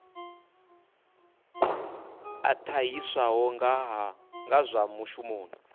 a ṱahiswaho nga zwa mushumoni